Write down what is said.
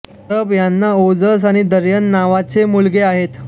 परब यांना ओजस आणि दर्यन नावाचे मुलगे आहेत